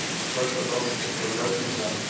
Escola Estadual Professor Léo Pisato.